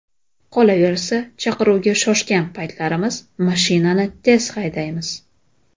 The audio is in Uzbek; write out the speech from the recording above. Qolaversa, chaqiruvga shoshgan paytlarimiz mashinani tez haydaymiz.